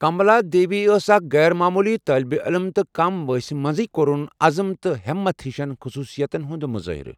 کملا دیوی ٲس اکھ غیر معموٗلی طالبہِ علِم تہٕ کم وانٛسہِ منٛزٕیہ كورٗن عزم تہٕ ہیمتھ ہِشن خصوُصِیاتن ہٗند مُظٲہرٕ۔